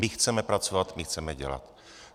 My chceme pracovat, my chceme dělat.